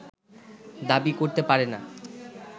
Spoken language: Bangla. দাবি করতে পারে না